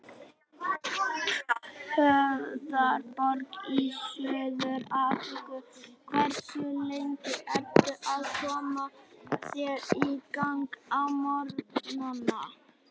Höfðaborg í Suður-Afríku Hversu lengi ertu að koma þér í gang á morgnanna?